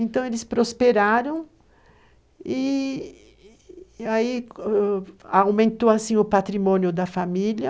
Então, eles prosperaram e aí aumentou assim o patrimônio da família.